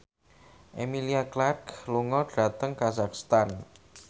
Emilia Clarke lunga dhateng kazakhstan